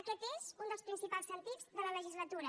aquest és un dels principals sentits de la legislatura